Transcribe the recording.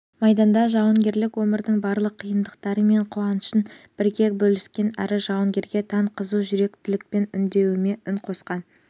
майданда жауынгерлік өмірдің барлық қиындықтары мен қуанышын бірге бөліскен әрі жауынгерге тән қызу жүректілікпен үндеуіме үн қатқан